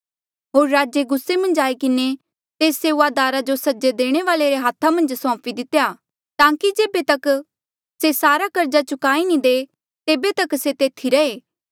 होर राजे गुस्से मन्झ आई किन्हें तेस सेऊआदारा जो सजा देणे वाल्ऐ रे हाथा मन्झ सौंपी दितेया ताकि जेबे तक से सारा कर्जा चुकाई नी दे तेबे तक से तेथी रहे